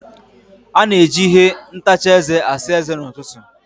A na-eji ihe ntacha eze asa eze n'ụtụtụ.